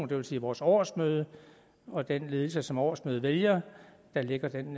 det vil sige vores årsmøde og den ledelse som årsmødet vælger der lægger den